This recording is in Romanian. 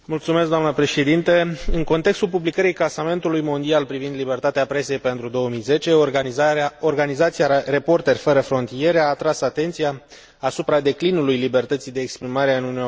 În contextul publicării clasamentului mondial privind libertatea presei pentru 2010, Organizația Reporteri Fără Frontiere a atras atenția asupra declinului libertății de exprimare în Uniunea Europeană.